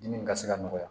Dimi ka se ka nɔgɔya